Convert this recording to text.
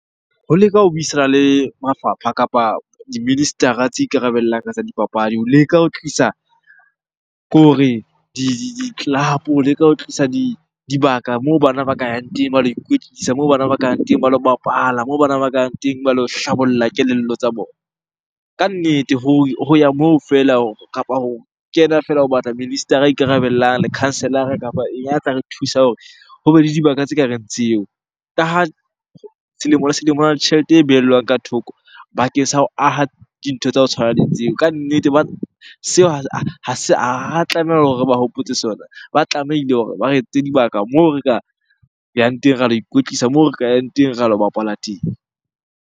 Ho leka ho buisana le mafapha kapa di-minister-ra tse ikarabellang ka tsa dipapadi ho leka ho tlisa, ke hore di-club-o, ho leka ho tlisa dibaka moo bana ba ka yang teng ba lo ikwetlisa. Moo bana ba ka yang teng ba lo bapala, moo bana ba ka yang teng ba lo hlabolla kelello tsa bona. Kannete ho ya moo feela kapa ho kena feela o batla minister-ra ikarabellang, lekhanselara kapa a tla re thusa hore hobe le dibaka tse kareng tseo. Ka ha selemo le selemo hona le tjhelete e behellwang ka thoko bakeng sa ho aha dintho tsa ho tshwana le tseo. Kannete seo tlameha hore re ba hopotse sona, ba tlamehile hore ba re etsetse dibaka moo re ka yang teng, ra lo ikwetlisa moo re ka yang teng ra lo bapala teng.